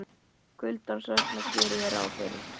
Kuldans vegna geri ég ráð fyrir.